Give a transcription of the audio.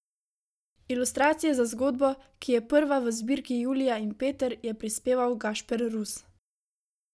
Ilustracije za zgodbo, ki je prva v zbirki Julija in Peter, je prispeval Gašper Rus.